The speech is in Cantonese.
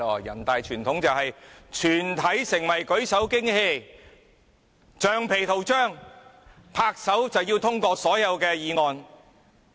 人大傳統很厲害，就是全體成為舉手機器、橡皮圖章，按鈕通過所有議案。